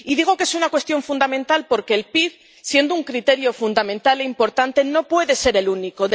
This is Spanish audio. Y digo que es una cuestión fundamental porque el PIB, siendo un criterio fundamental e importante, no puede ser el único.